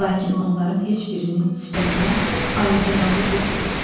Lakin onların heç birinin sifətinə alicənablıq yox idi.